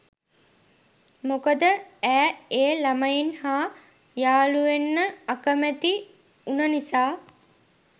මොකද ඈ ඒ ළමයින් හා යාළුවෙන්න අකමැති වුණ නිසා.